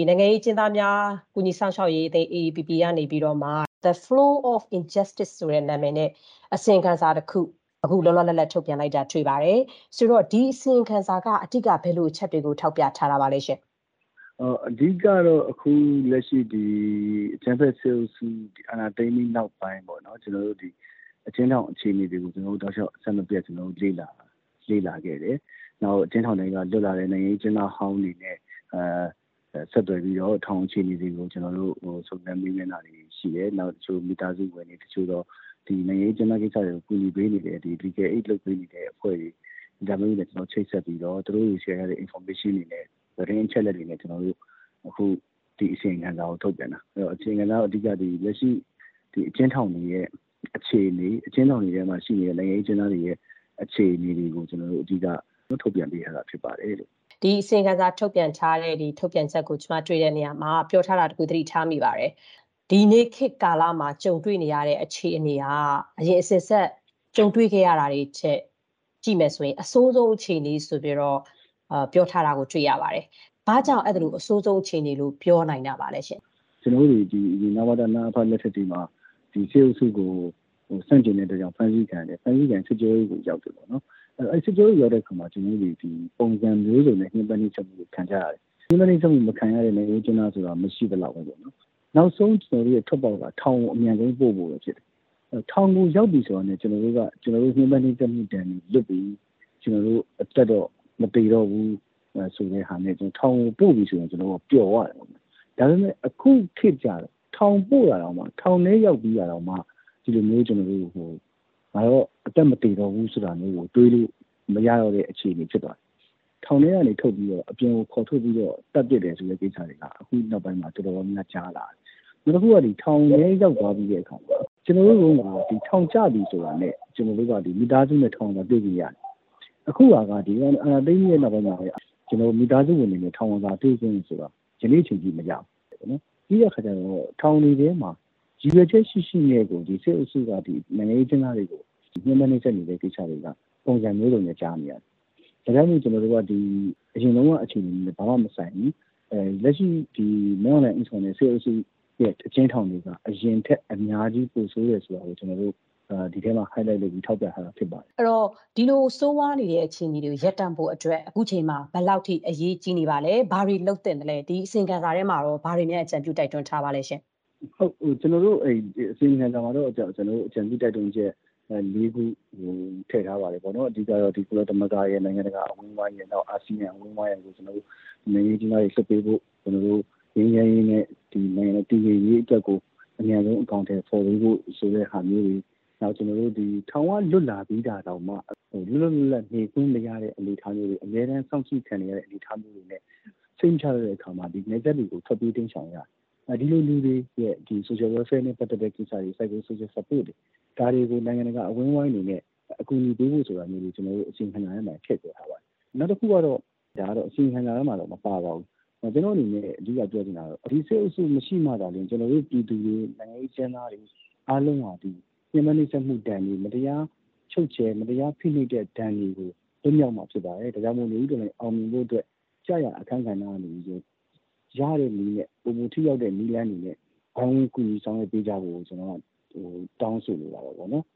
နိုင်ငံရေးအကျဉ်းသားများ ကူညီစောင့်ရှောက်ရေး အသင်း က The Flow of Injustice ဆိုတဲ့ အစီရင်ခံစာကို ဒီကနေ့ လောလောလတ်လတ် ထုတ်ပြန်တာ တွေ့ပါတယ်။ ဒီအစီရင်ခံစာက အဓိက ဘယ်လိုအချက်တွေကို ထောက်ပြထား တာပါလဲ။ AAPP ပြောခွင့်ရ။ ။အဓိကကတော့ ဒီအကြမ်းဖက်အုပ်စု အာဏာသိမ်းပြီးနောက်ပိုင်း အကျဉ်းထောင်အခြေအနေတွေကို ကျနော်တို့ အဆက်မပြတ် လေ့လာခဲ့တယ်။ နောက်ပြီးတော့ အကျဉ်းထောင်ထဲက လွတ်လာတဲ့ နိုင်ငံရေးအကျဉ်းသားဟောင်းတွေ နဲ့ ဆက်သွယ်ပြီးတော့ ထောင်အခြေအနေတွေကို စုံစမ်းမေးမြန်းတာတွေ ရှိတယ်။ ပြီးတော့ တချို့ မိသားစုဝင်တွေ၊ တချို့သော နိုင်ငံရေးအကျဉ်းသားတွေကို ကူညီပေးနေတဲ့၊ Legal aid ပေးနေတဲ့အဖွဲ့တွေနဲ့ ချိတ်ဆက်ပြီးတော့ သူတို့ရှယ်ထားတဲ့ အချက်အလက်တွေ၊ သတင်းအချက်အလက်တွေနဲ့ ကျနော်တို့ ဒီအစီရင်ခံစာကို ထုတ်ပြန်တာ။ ဆိုတော့ ဒီအစီရင်ခံစာက လက်ရှိ အကျဉ်းထောင်တွေရဲ့ အ ခြေအနေ၊ အကျဉ်းထောင်တွင်းမှာ ရှိနေတဲ့ နိုင်ငံရေးအကျဉ်းသားတွေရဲ့ အခြေအနေတွေကို အဓိက ထုတ်ပြန်တာဖြစ်ပါတယ်။ ခင်ဖြူထွေး။ ။ဒီအစီရင်ခံစာ ထုတ်ပြန်ချက်မှာ တွေ့တာတခုက − ဒီနေ့ခေတ်ကာလမှာ ကြုံတွေ့နေရတဲ့ အခြေအနေကတော့ အရင် အစဉ်အဆက် ကြုံတွေ့ခဲ့ရတာတွေထက် အဆိုးဆုံးအခြေအနေ ဆိုပြီး ပြောထားတာ တွေ့ပါတယ်။ ဘာကြောင့် အဲ့ဒီလို အဆိုးဆုံးအခြေအနေလို့ ပြောနိုင်တာပါလဲရှင့်။ AAPP ပြောခွင့်ရ။ ။ကျနော်တို့တွေ အရင် နဝတ၊ နအဖ လက်ထက်တွေမှာ ဒီစစ်အုပ်စုကို ဆန့်ကျင်တဲ့အတွက်ကြောင့် ဖမ်းဆီးခံရတယ်။ စစ်ကြောရေးကို ရောက်တယ်ပေါ့နော်။ အဲ့ဒီစစ်ကြောရေးကို ရောက်တဲ့အခါမှာ ကျနော်တို့တွေသည် ပုံစံမျိုးစုံနဲ့ ညှင်းပမ်းနှိပ်စက် ခံကြရတယ်။ ညှင်းပမ်း နှိက်စက်မခံရတဲ့ နိုင်ငံရေးအကျဉ်းသား ဆိုတာ မရှိသလောက်ပေါ့နော်။ နောက်ဆုံး ကျနော်တို့ရဲ့ ထွက်ပေါက်က ထောင်ကို အမြန်ဆုံး အပို့ခံရဖို့ ဖြစ်တယ်။ ထောင်ကိုရောက်ပြီ ဆိုတာနဲ့ ကျနော်တို့က ညှမ်းပမ်းနှိပ်စက်မှု ဒဏ်ကနေ လွတ်ပြီ။ ကျနော်တို့ အသက်တော့ မသေတော့ဘူး ဆိုတာနဲ့ ထောင်ကို ပို့ပြီ ဆိုတာနဲ့ ကျနော်တို့က ပျော်သွားတယ်။ ဒါပေမဲ့ အခုခေတ်ကကျတော့ ထောင်ပို့တာတောင်မှ ထောင်ထဲရောက်ပြီးတာတောင်မှ ဒီလိုမျိုး ငါတော့ အသက်မသေတော့ဘူး ဆိုတာမျိုးကို တွေးလို့မရတော့တဲ့ အခြေအနေ ဖြစ်သွားတယ်။ ထောင်ထဲကနေ ထွက်ပြီးတော့ အပြင်ကို ခေါ်ထုတ်ပြီးတော့ သတ်ပစ်တာတွေ ဆိုတာက အခုနောက်ပိုင်းမှာ တော်တော်များများ ကြားလာရတယ်။ နောက်ပြီးတော့ ထောင်ထဲ ရောက်သွားပြီးတဲ့အခါမှာ ကျနော်တို့တုန်းက ဒီထောင်ကျပြီ ဆိုတာနဲ့ ကျနော်တို့က မိသားစုနဲ့ ထောင်ဝင်စာ တွေ့လို့ရတယ်။ အခုဟာက ဒီကောင်တွေ အာဏာသိမ်းပြီးတဲ့ နောက်ပိုင်းမှာ မိသားစုတွေလည်း ထောင်ဝင်စာ တွေ့ခွင့်ဆိုတာ ယနေ့အချိန်ထိ မရဘူး။ ပြီးတဲ့အခါကျတော့ ထောင်တွေထဲမှာ ရည်ရွယ်ချက်ရှိရှိနဲ့ကို စစ်အုပ်စုက နိုင်ငံရေးအကျဉ်းသားတွေကို ညှင်းပမ်းနှိပ်စက်တာတွေက ပုံစံ မျိုးစုံနဲ့ ကြားနေရတယ်။ ဒါကြောင့်မို့ ကျနော်တို့က အရင်တုန်းက အခြေအနေနဲ့ ဘာမှမဆိုင်ဘူး။ လက်ရှိ မင်းအောင်လှိုင် ဦးဆောင်တဲ့ စစ်အုပ်စုရဲ့ အကျဉ်းထောင်တွေဟာ အရင်ထက် အများကြီး ပိုဆိုးတယ်ဆိုတာကို ဒီအစီရင်ခံစာထဲမှာ highlight လုပ်ပြီး ထောက်ပြထားတာ ဖြစ်ပါတယ်။ ခင်ဖြူထွေး။ ။ဒီလိုဆိုးရွားနေတဲ့ အခြေအနေတွေကို ရပ်တန့်ဖို့အတွက် အခုအချိန်မှာ ဘယ်လောက်ထိ အရေးကြီးနေပါသလဲ။ ဘာတွေလုပ်သင့်လဲ။ ဒီအစီရင်ခံစာထဲမှာရော ဘာတွေများ အကြံပြုတိုက်တွန်းထားပါသလဲရှင့်။ AAPP ပြောခွင့်ရ။ ။အစီရင်ခံစာထဲမှာ အကြံပြုတိုက်တွန်းချက် ခုထည့်ထားပါတယ်။ အဓိကကတော့ ကုလသမဂ္ဂရယ်၊ နိုင်ငံတကာအဝန်းအဝိုင်းရယ်၊ နောက် အာဆီယံအဝိုင်းအရယ်ကို နိုင်ငံရေးအကျဉ်းသားတွေလွှတ်ပေးဖို့၊ ငြိမ်းချမ်းရေးနဲ့ နိုင်ငံတည်ငြိမ်ရေးအတွက်ကို အမြန်ဆုံးအကောင်အထည်ဖော်ပေးဖို့ဆိုတဲ့ဟာမျိုးတွေ၊ နောက် ထောင်ကလွတ်လာပြီးတာတောင်မှ လွတ်လွတ်လပ်လပ်နေခွင့်မရတဲ့ အနေအထားမျိုးတွေ၊ အမြဲတမ်းစောင့်ကြည့်ခံနေရတဲ့ အနေအထားမျိုးတွေနဲ့ စိတ်မချရတော့တဲ့အခါမှာ နယ်စပ်တွေကို ထွက်ပြေးတိမ်းရှောင်ရပါတယ်။ ဒီလိုလူတွေရဲ့ social welfare နဲ့ ပတ်သက်တဲ့ကိစ္စတွေ psycho social support တွေ ဒါတွေကို နိုင်ငံတကာအဝန်းအဝိုင်းအနေနဲ့ အကူအညီပေးဖို့ ဆိုတာမျိုးတွေ ကျွန်တော်တို့ အစီရင်ခံစာထဲမှာ ထည့်ပြောထားပါတယ်။ နောက်တခုကတော့ ဒါကတော့ အစီရင်ခံစာထဲမှာ မပါပါဘူး။ ကျွန်တော့်အနေနဲ့ အဓိကပြောချင်တာကတော့ ဒီစစ်အုပ်စုမရှိမှသာလျင် ကျွန်တော်တို့ ပြည်သူတွေ၊ နိုင်ငံရေးအကျဉ်းသားတွေ အားလုံးဟာ ညှင်းပမ်းနှိပ်စက်မှုဒဏ်တွေ မတရားချုပ်ခြယ် မတရားဖိနှိပ်တဲ့ဒဏ်တွေကို လွတ်မြောက်မှာဖြစ်ပါတယ်။ ဒါကြောင့်မလို့ နွေဦးတော်လှန်ရေးအောင်မြင်ဖို့အတွက် ကျရာအခန်းကဏ္ဍကနေပြီးတော့ ရတဲ့နည်းနဲ့ ပိုမိုထိရောက်တဲ့နည်းလမ်းတွေနဲ့ ဝိုင်းဝန်းကူညီဆောင်ရွက်ပေးကြဖို့ကို ကျွန်တော်က တောင်းဆိုလိုတာပေါ့နော်